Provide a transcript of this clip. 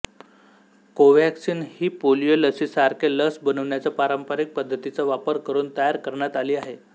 Covaxin ही polio लसीसारखे लस बनवण्याचा पारंपरिक पद्धतीचा वापर करून तयार करण्यात आली आहे